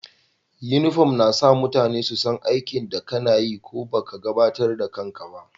Uniform na sa mutane su san aikin da kana yi ko baka gabatar da kan ka ba.